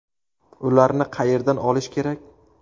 Ularni qayerdan olish kerak?